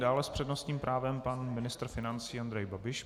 Dále s přednostním právem pan ministr financí Andrej Babiš.